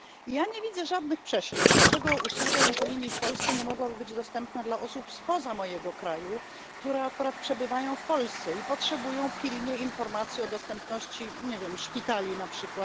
Ja nie widzę żadnych przeszkód, dlaczego usługa infolinii w Polsce nie mogłaby być dostępna dla osób spoza mojego kraju, które akurat przebywają w Polsce i potrzebują pilnie informacji o dostępności szpitali np.